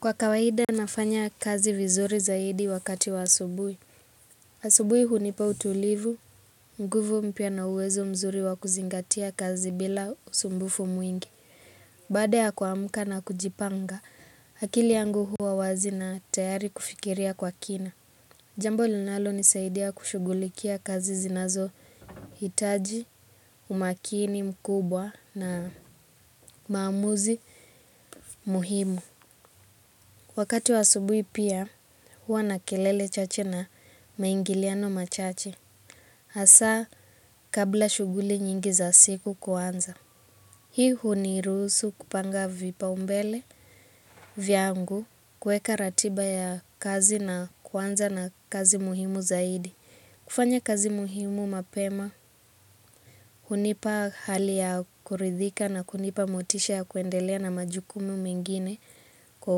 Kwa kawaida nafanya kazi vizuri zaidi wakati wa asubuhi. Asubuhi hunipa utulivu, nguvu mpya na uwezo mzuri wa kuzingatia kazi bila usumbufu mwingi. Baada ya kuamka na kujipanga, akili yangu huwa wazi na tayari kufikiria kwa kina. Jambo linalonisaidia kushugulikia kazi zinazohitaji, umakini mkubwa na maamuzi muhimu. Wakati wa asubuhi pia, huwa na kelele chache na maingiliano machache. Hasa kabla shuguli nyingi za siku kuanza. Hii huniruhusu kupanga vipaumbele, vyangu, kuweka ratiba ya kazi na kuanza na kazi muhimu zaidi. Kufanya kazi muhimu mapema, hunipa hali ya kuridhika na kunipa motisha ya kuendelea na majukumu mengine kwa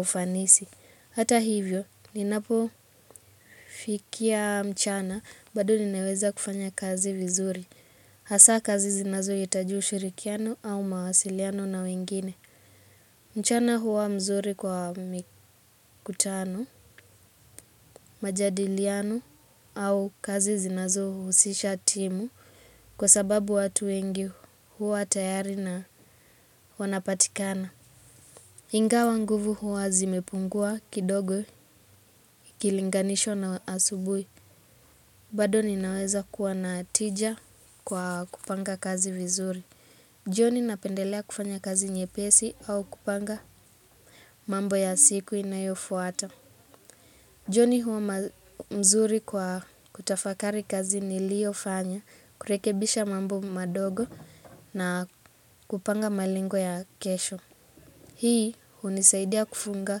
ufanisi. Hata hivyo, ninapofikia mchana, bado ninaweza kufanya kazi vizuri. Hasa kazi zinazohitaji ushirikiano au mawasiliano na wengine. Mchana huwa mzuri kwa mikutano, majadiliano au kazi zinazohusisha timu kwa sababu watu wengi huwa tayari na wanapatikana. Inga nguvu huwa zimepungua kidogo, ikilinganishwa na asubuhi. Bado ninaweza kuwa na tija kwa kupanga kazi vizuri. Jioni napendelea kufanya kazi nyepesi au kupanga mambo ya siku inayofuata. Joni huwa mzuri kwa kutafakari kazi niliyofanya, kurekebisha mambo madogo na kupanga malengo ya kesho. Hii unisaidia kufunga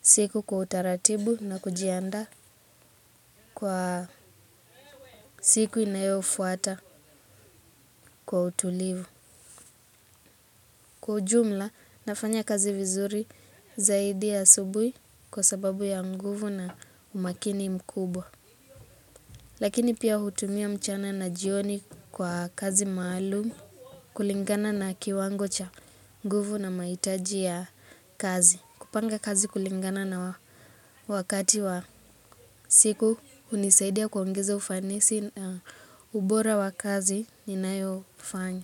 siku kwa utaratibu na kujiandaa kwa siku inayofuata kwa utulivu. Kwa ujumla, nafanya kazi vizuri zaidi ya asubuhi kwa sababu ya nguvu na umakini mkubwa. Lakini pia hutumia mchana na jioni kwa kazi maalumu kulingana na kiwango cha nguvu na mahitaji ya kazi. Kupanga kazi kulingana na wakati wa siku hunisaidia kuongeza ufanisi na ubora wa kazi ninayofanya.